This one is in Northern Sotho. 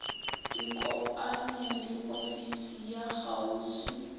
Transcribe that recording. ikopanye le ofisi ya kgauswi